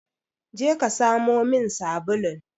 Je ka samo min sabulun!